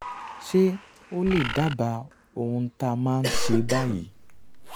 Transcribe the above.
ṣé o lè dábàá ohun tá a máa ṣe báyìí?